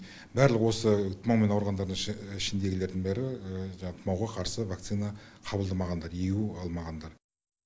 барлық осы тұмаумен ауырғандардың ішіндегілердің бәрі жаңағы тұмауға қарсы вакцина қабылдамағандар егу алмағандар